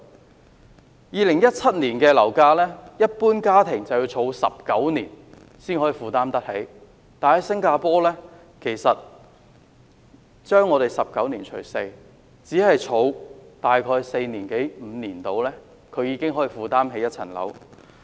按照2017年的樓價，一般家庭要儲蓄19年才能夠負擔得起，但新加坡是將我們的19年除 4， 只需儲蓄大約四五年，已經可以負擔一層樓。